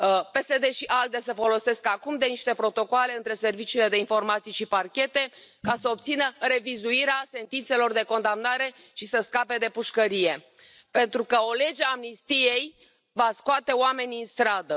PSD și ALDE se folosesc acum de niște protocoale între serviciile de informații și parchete ca să obțină revizuirea sentințelor de condamnare și să scape de pușcărie, pentru că o lege a amnistiei va scoate oamenii în stradă.